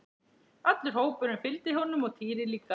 Allur hópurinn fylgdi honum og Týri líka!